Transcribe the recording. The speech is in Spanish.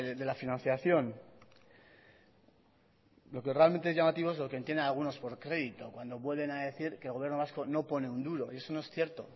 de la financiación lo que realmente es llamativo es lo que entienden algunos por crédito cuando vuelven a decir que el gobierno vasco no pone un duro y eso no es cierto